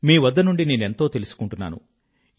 మీ వద్ద నుండి నేనెంతో తెలుసుకుంటున్నాను